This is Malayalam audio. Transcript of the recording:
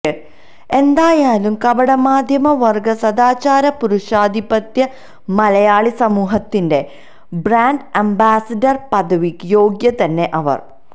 എന്തായാലും കപടമധ്യവര്ഗ സദാചാര പുരുഷാധിപത്യ മലയാളി സമൂഹത്തിന്റെ ബ്രാന്ഡ് അംബാസിഡര് പദവിക്ക് യോഗ്യതന്നെ അവര്